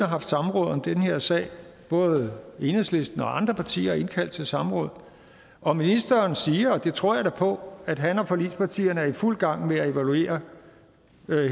haft samråd om den her sag både enhedslisten og andre partier har indkaldt til samråd og ministeren siger og det tror jeg da på at han og forligspartierne er i fuld gang med at evaluere